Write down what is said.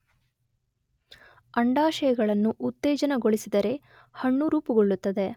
ಅಂಡಾಶಯಗಳನ್ನು ಉತ್ತೇಜನಗೊಳಿಸಿದರೆ ಹಣ್ಣು ರೂಪುಗೊಳ್ಳುತ್ತದೆ.